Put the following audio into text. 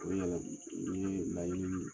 O yɛrɛ, ni ye laɲini min